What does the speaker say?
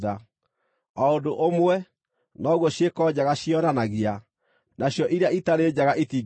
O ũndũ ũmwe, noguo ciĩko njega ciĩyonanagia, nacio iria itarĩ njega itingĩhithĩka.